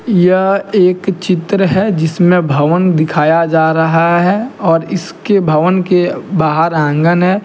यह एक चित्र है जिसमें भवन दिखाया जा रहा है और इसके भवन के बाहर आंगन है।